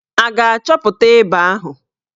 A ga-achọpụta ịba ahụ?